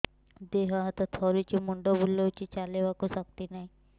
ଦେହ ହାତ ଥରୁଛି ମୁଣ୍ଡ ବୁଲଉଛି ଚାଲିବାକୁ ଶକ୍ତି ନାହିଁ